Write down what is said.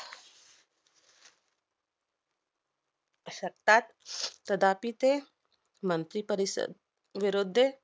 शकतात. कदापि ते मंत्री परिषद विरोध्ये